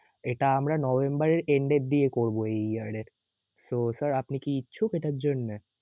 এটা আমরা November এর end এর দিকে করবো এই year এ. তো sir আপনি কি ইচ্ছুক এটার জন্যে?